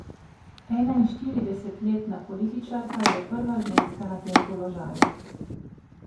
Enainštiridesetletna političarka je prva ženska na tem položaju.